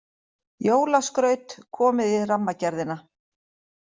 Jólaskraut komið í Rammagerðina